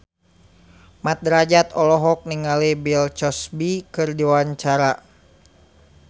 Mat Drajat olohok ningali Bill Cosby keur diwawancara